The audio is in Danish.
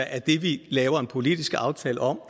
at det vi laver en politisk aftale om